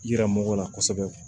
Yira mɔgɔw la kosɛbɛ